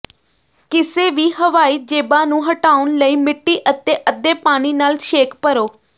ਕਿਸੇ ਵੀ ਹਵਾਈ ਜੇਬਾਂ ਨੂੰ ਹਟਾਉਣ ਲਈ ਮਿੱਟੀ ਅਤੇ ਅੱਧੇ ਪਾਣੀ ਨਾਲ ਛੇਕ ਭਰੋ